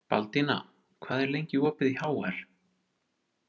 Baldína, hvað er lengi opið í HR?